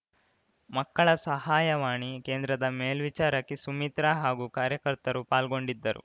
ಮಕ್ಕಳ ಸಹಾಯವಾಣಿ ಕೇಂದ್ರದ ಮೇಲ್ವಿಚಾರಕಿ ಸುಮಿತ್ರ ಹಾಗೂ ಕಾರ್ಯಕರ್ತರು ಪಾಲ್ಗೊಂಡಿದ್ದರು